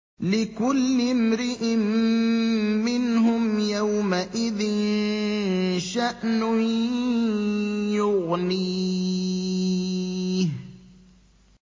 لِكُلِّ امْرِئٍ مِّنْهُمْ يَوْمَئِذٍ شَأْنٌ يُغْنِيهِ